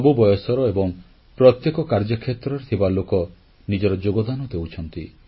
ସବୁ ବୟସର ଏବଂ ପ୍ରତ୍ୟେକ କାର୍ଯ୍ୟ କ୍ଷେତ୍ରରେ ଥିବା ଲୋକ ନିଜର ଯୋଗଦାନ ଦେଉଛନ୍ତି